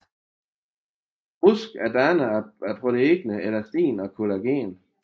Brusk er dannet af proteinerne elastin og collagen